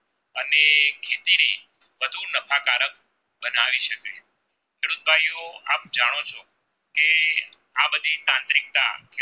ખેડૂત ભાઈ ઓ આપ જાણો છો કે આ બધી તાંત્રિકતા